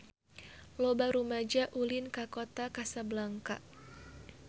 Loba rumaja ulin ka Kota Kasablanka